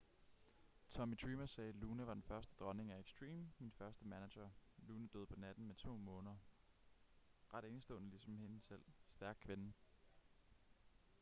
tommy dreamer sagde luna var den første dronning af extreme min første manager luna døde på natten med to måner ret enestående ligesom hende selv stærk kvinde